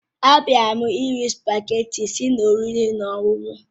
Abịara m iri spugeetí tti si n'oriri na ọṅụṅụ